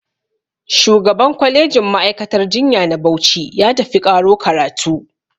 Shugaban kwalejin ma'aikatar jinya na Bauchi ya tafi ƙaro karatu